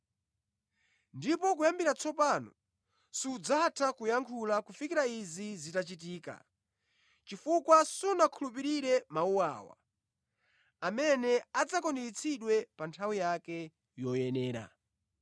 Ndipo kuyambira tsopano sudzatha kuyankhula kufikira izi zitachitika chifukwa sunakhulupirire mawu awa, amene adzakwaniritsidwe pa nthawi yake yoyenera.”